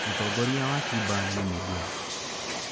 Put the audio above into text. Mũtongoria wa Cuba nĩ Miguel.